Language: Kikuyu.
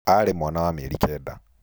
Aarĩ mwana wa mĩeri kenda.